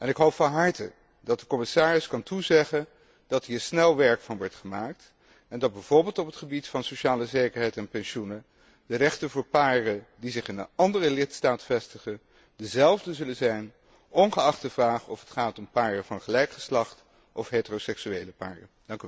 Ik hoop van harte dat de commissaris kan toezeggen dat hier snel werk van wordt gemaakt en dat bijvoorbeeld op het gebied van sociale zekerheid en pensioenen de rechten voor paren die zich in een andere lidstaat vestigen, dezelfde zullen zijn, ongeacht de vraag of het gaat paren van gelijk geslacht of heteroseksuele paren.